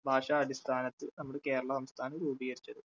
ഭാഷാ അടിസ്ഥാനത്തിൽ നമ്മുടെ കേരള സംസ്ഥാനം രൂപീകരിച്ചത്.